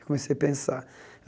Comecei a pensar.